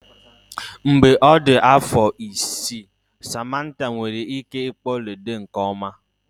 Mgbe ọ dị afọ isii, Samantha nwere ike ịkpọ ludo nke ọma.